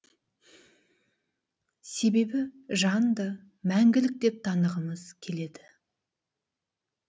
себебі жанды мәңгілік деп танығымыз келеді